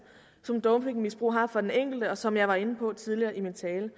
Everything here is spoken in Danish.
som dopingmisbrug har for den enkelte og som jeg var inde på tidligere i min tale